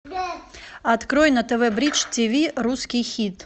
открой на тв бридж тиви русский хит